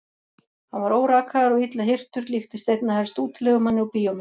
Hann var órakaður og illa hirtur, líktist einna helst útilegumanni úr bíómynd.